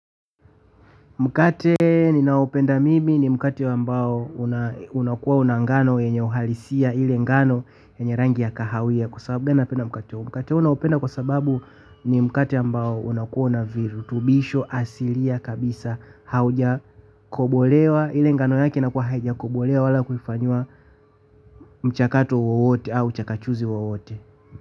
Mkate ninaopenda mimi ni mkate ambao unakuwa una ngano wenye uhalisia ile ngano yenye rangi ya kahawia kwa sababu napenda mkate huu mkate huu naupenda kwa sababu ni mkate ambao unakuwa na virutubisho asilia kabisa haujakobolewa ile ngano yake inakuwa haijakobolewa wala kufanyia mchakatu wowote au chakachuzi wowote.